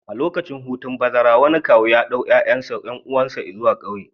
A lokacin hutun bazara, wani kawu ya ɗauki ƴaƴan ƴan uwansa zuwa ƙauye